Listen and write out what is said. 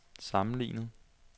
sammenlignet